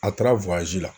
A taara la